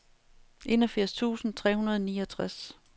enogfirs tusind tre hundrede og niogtres